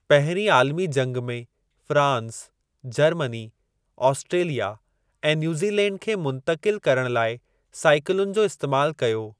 पहिरीं आलमी जंगि में फ़्रांस, जर्मनी, आस्ट्रेलिया ऐं न्यूज़ीलैंड खे मुंतक़िल करणु लाइ साईकलुनि जो इस्तेमाल कयो।